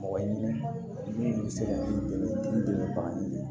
Mɔgɔ ɲini bɛ se ka dɛmɛ bagan minɛ